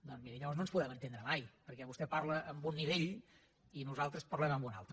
doncs miri llavors no ens podem entendre mai perquè vostè parla en un nivell i nosaltres parlem en un altre